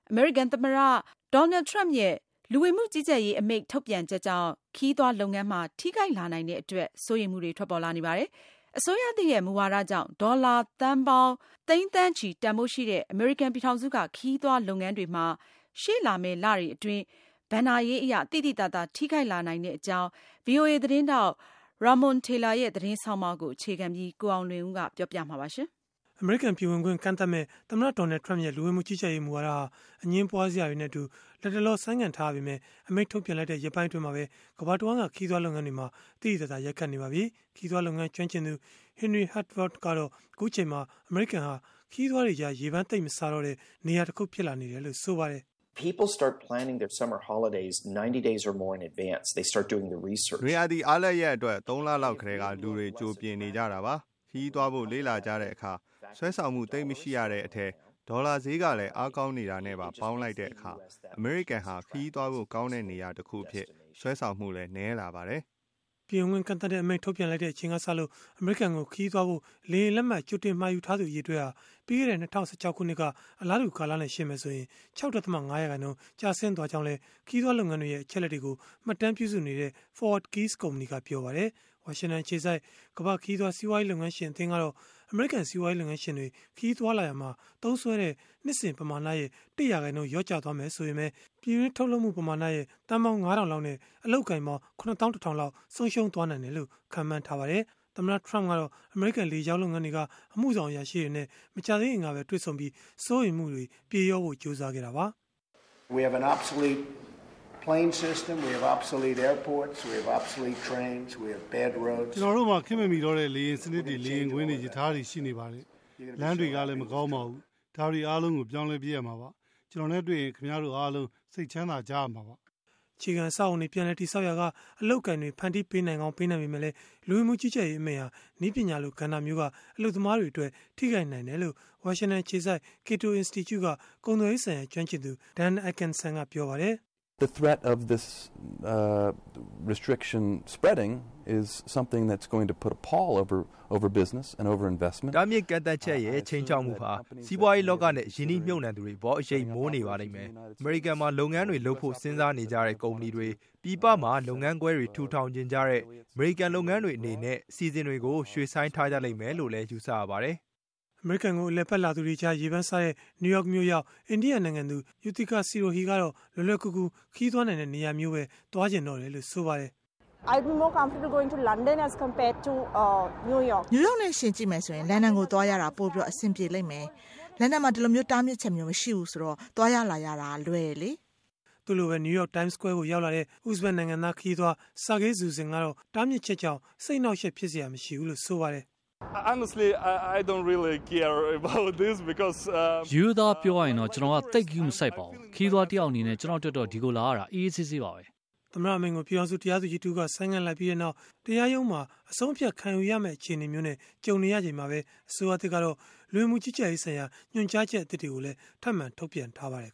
အမေရိကန်သမ္မတ Donald Trump ရဲ့ လူဝင်မှုကြီးကြပ်ရေး အမိန့်ထုတ်ပြန်ချက်ကြောင့် ခရီးသွားလုပ်ငန်းမှာ ထိခိုက်လာနိုင်တဲ့အတွက် စိုးရိမ်မှုတွေ ထွက်ပေါ်လာနေပါတယ်။ အစိုးရသစ်ရဲ့ မူဝါဒကြောင့် ဒေါ်လာသန်းပေါင်း သိန်း၊ သန်းချီ တန်ဘိုးရှိတဲ့ အမေရိကန် ပြည်ထောင်စုက ခရီးသွားလုပ်ငန်းတွေမှာ ရှေ့လာမယ့်လတွေအတွင်း ဘဏ္ဍာရေးအရ သိသိသာသာ ထိခိုက်လာနိုင်တဲ့အကြောင်း ဗွီအိုအေ သတင်းထောက် Ramon Taylor ရဲ့ သတင်းဆောင်းပါးကို အခြေခံပြီး ကိုအောင်လွင်ဦး က တင်ပြပေးမှာဖြစ်ပါတယ်။ အမေရိကန် ပြည်ဝင်ခွင့် ကန့်သတ်မယ့် သမ္မတ Donald Trump ရဲ့ လူဝင်မှုကြီးကြပ်ရေး မူဝါဒဟာ အငြင်းပွားစရာတွေနဲ့အတူ လတ်တလော ဆိုင်းငံ့ထားရပေမဲ့ - အမိန့်ထုတ်ပြန်လိုက်တဲ့ ရက်ပိုင်းအတွင်းမှာပဲ ကမ္ဘာတဝန်းက ခရီးသွား လုပ်ငန်းတွေမှာ သိသိသာသာ ရိုက်ခတ်နေပါပြီ။ ခရီးသွားလုပ်ငန်း ကျွမ်းကျင်သူ Henry Harteveldt ကတော့ အခုအချိန်မှာ အမေရိကန်ဟာ ခရီးသွားတွေကြား ရေပမ်းသိပ်မစားတဲ့ နေရာတခု ဖြစ်လာနေတယ်လို့ ပြောပါတယ်။ “နွေရာသီအားလပ်ရက်အတွက် ၃ လလောက်ကတည်းက လူတွေက ကြိုပြင်နေကြတာပါ။ ခရီးသွားဖို့ လေ့လာကြတဲ့အခါ ဆွဲဆောင်မှု သိပ်မရှိရတဲ့အထဲ ဒေါ်လာဈေးက အားကောင်းနေတာနဲ့ပါ ပေါင်းလိုက်တဲ့အခါ၊ အမေရိကန်ဟာ ခရီးသွားဖို့ကောင်းတဲ့ နေရာတခုအဖြစ် ဆွဲဆောင်မှုလည်း နည်းလာပါတယ်။” ပြည်ဝင်ခွင့်ကန့်သတ်တဲ့အမိန့် ထုတ်ပြန်လိုက်တဲ့အချိန်ကစလို့ အမေရိကန်ကို ခရီးသွားဖို့ လေယာဉ်လက်မှတ် ကြိုတင်မှာယူထားသူ အရေအတွက်ဟာ ပြီးခဲ့တဲ့ ၂၀၁၆ ခုနှစ်က အလားတူ ကာလနဲ့ ယှဉ်မယ်ဆိုရင် ၆.၅% ကျဆင်းသွားကြောင်းလည်း ခရီးသွားလုပ်ငန်းတွေရဲ့ အချက်အလက်တွေကို မှတ်တမ်းပြုစုနေတဲ့ ForwardKeys ကုမ္ပဏီ ပြောပါတယ်။ ဝါရှင်တန်အခြေစိုက် ကမ္ဘာ့ခရီးသွား စီးပွားရေးလုပ်ငန်းရှင် အသင်းကတော့ အမေရိကန် စီးပွားရေးလုပ်ငန်းရှင်တွေ ခရီးသွားလာရာမှာ သုံးစွဲတဲ့ နှစ်စဉ်ပမာဏရဲ့ ၁ ရာခိုင်နှုန်း လျော့ကျမယ် ဆိုရင်ပဲ၊ ပြည်တွင်းကုန်ထုတ်လုပ်မှုက သန်းပေါင်း ၅၀၀၀ လောက်နဲ့ အလုပ်အကိုင်ပေါင်း ၇၁,၀၀၀ လောက် ဆုံးရှုံးနိုင်တယ်လို့ ခန့်မှန်းထားပါတယ်။ သမ္မတ Trump ကတော့ အမေရိကန်လေကြောင်းလုပ်ငန်းတွေက အမှုဆောင်အရာရှိတွေနဲ့ မကြာသေးခင်ကပဲ တွေ့ဆုံပြီး စိုးရိမ်မှုတွေ ပြေလျော့ဖို့ ကြိုးစားခဲ့တာပါ။ “ကျနော်တို့မှာ ခေတ်မမီတော့တဲ့ လေယာဉ်စနစ်တွေ၊ လေယာဉ်ကွင်းတွေ၊ ရထားတွေ ရှိနေပါတယ်။ လမ်းတွေကလည်း မကောင်းပါဘူး။ ဒါတွေအားလုံးကို ပြောင်းလဲပစ်မှာပါ။ ကျနော်နဲ့တွေ့ရင် ခင်ဗျားတို့အားလုံး စိတ်ချမ်းသာကြရမှာပါ။” အခြေခံအဆောက်အအုံတွေ ပြန်လည်တည်ဆောက်ရာက အလုပ်အကိုင်တွေ ဖန်တီးပေးနိုင်ပေမဲ့လည်း၊ လူဝင်မှုကြီးကြပ်ရေး အမိန့်ဟာ နည်းပညာလို ကဏ္ဍမျိုးက အလုပ်သမားတွေအတွက် ထိခိုက်နိုင်တယ်လို့ ဝါရှင်တန်အခြေစိုက် Cato Institute က ကုန်သွယ်ရေးဆိုင်ရာ ကျွမ်းကျင်သူ Dan Ikenson ကပြောပါတယ်။ “တားမြစ်ကန့်သတ်ချက်ရဲ့ ခြိမ်းခြောက်မှုဟာ စီးပွားရေးလောကနဲ့ ရင်းနှီးမြှုပ်နှံမှုတွေအပေါ် အရိပ်မိုးနေပါလိမ့်မယ်။ အမေရိကန်မှာ လုပ်ငန်းတွေလုပ်ဖို့ စဉ်းစားနေကြတဲ့ ကုမ္ပဏီတွေ၊ ပြည်ပမှာ လုပ်ငန်းခွဲတွေ ထူထောင်ချင်ကြတဲ့ အမေရိကန် လုပ်ငန်းတွေအနေနဲ့ အစီအစဉ်တွေကို ရွှေ့ဆိုင်းထားကြလိမ့်မယ်လို့လည်း ယူဆရပါတယ်။” အမေရိကန်ကို အလည်အပတ်လာသူတွေကြား ရေပမ်းစားတဲ့ နယူးယောက်မြို့ရောက် အိန္ဒိယနိုင်ငံသူ Yuthicka Sirohi ကတော့ လွယ်လွယ်ကူကူ ခရီးသွားနိုင်တဲ့ နေရာမျိုးကိုပဲ သွားချင်တော့တယ်လို့ ဆိုပါတယ်။ “နယူးယောက်နဲ့ ယှဉ်ကြည့်မယ်ဆိုရင်တော့ လန်ဒန်ကိုသွားရတာ ပိုပြီးအဆင်ပြေပါလိမ့်မယ်။ လန်ဒန်မှာ ဒီလိုတားမြစ်ချက်မျိုး မရှိတာကြောင့် သွားရလာရလည်း လွယ်တယ်လေ။” သူ့လိုပဲ နယူးယောက် Times Square ကိုရောက်လာတဲ့ ဥဇဘတ်နိုင်ငံသား ခရီးသွား Sergey Zusin ကတော့ တားမြစ်ချက်ကြောင့် စိတ်အနှောင့်အယှက် ဖြစ်စရာမရှိဘူးလို့ ဆိုပါတယ်။ “ရိုးရိုးသားသားပြောရရင်၊ ကျနော်ကတော့ သိပ်ဂရုမစိုက်ပါဘူး။ ခရီးသွားတယောက်အနေနဲ့ ကျနော့်အတွက်တော့ ဒီကိုလာရတာ အေးအေး ဆေးဆေးပါပဲ။” သမ္မတအမိန့်ကို ပြည်ထောင်စု တရားသူကြီးတဦးက ဆိုင်းငံ့လိုက်ပြီးနောက် တရားရုံးမှာ အဆုံးအဖြတ်ခံယူရမယ့် အခြေအနေမျိုးနဲ့ ကြုံနေရချိန်မှာ ပဲ၊ အစိုးရသစ်ကတော့ လူဝင်မှုကြီးကြပ်ရေးဆိုင်ရာ ညွှန်ကြားချက်အသစ်တွေကိုလည်း ထပ်မံထုတ်ပြန်ထားပါတယ်